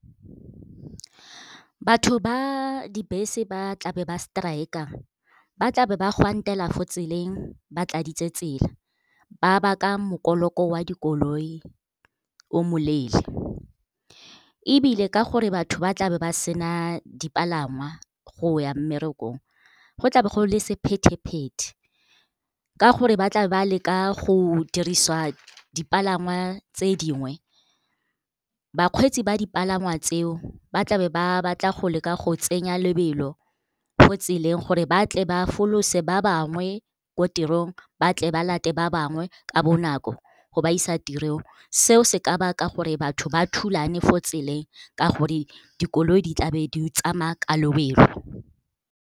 Batho ba dibese ba tlabe ba striker-a ba tlabe ba gwantela fo tseleng ba tladitse tsela, ba baka mokoloko oa dikoloi o moleele. Ebile ka gore batho ba tlabe ba sena dipalangwa go ya mmerekong go tlabe go le sephethe-phete, ka gore ba tlabe ba leka go dirisa dipalangwa tse dingwe. Bakgweetsi ba dipalangwa tseo ba tlabe ba batla go leka go tsenya lebelo mo tseleng gore ba tle ba folose ba bangwe ko tirong, ba tle ba late ba bangwe ka bonako go ba isa tirong. Seo se ka baka gore batho ba thulane fo tseleng ka gore dikoloi di tlabe di tsamaya ka lobelo.